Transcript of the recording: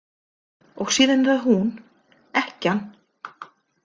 Og síðan er það hún: Ekkjan.